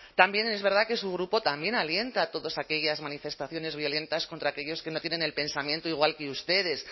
también es verdad que su grupo también alienta todas aquellas manifestaciones violentas contra aquellos que no tienen el pensamiento igual que ustedes